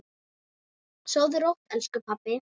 Sofðu rótt, elsku pabbi.